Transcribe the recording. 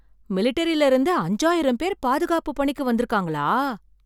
மிலிட்டரில இருந்து அஞ்சாயிரம் பேர் பாதுகாப்பு பணிக்கு வந்திருக்கங்களா?